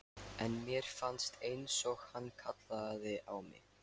En mér fannst einsog hann kallaði á mig.